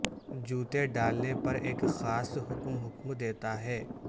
جوتے ڈالنے پر ایک خاص حکم حکم دیتا ہے